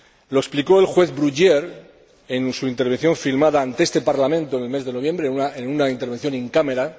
Lo explicó el juez Bruguière en su intervención filmada ante este Parlamento en el mes de noviembre, en una intervención in camera